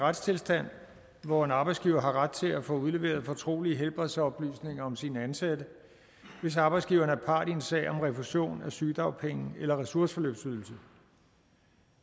retstilstand hvor en arbejdsgiver har ret til at få udleveret fortrolige helbredsoplysninger om sine ansatte hvis arbejdsgiveren er part i en sag om refusion af sygedagpenge eller ressourceforløbsydelse